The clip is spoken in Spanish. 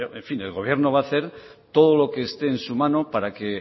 en fin el gobierno va a hacer todo lo que esté en su mano para que en